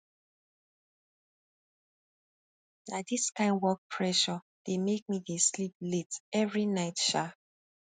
na dis kain work pressure dey make me dey sleep late every night um